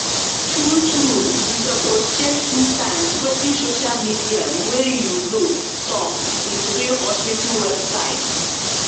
true true you suppose check two times wetin social media way you know talk with real hospital website.